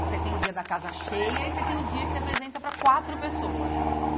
Você tem o dia da casa cheia e você tem o dia que se apresenta para quatro pessoas.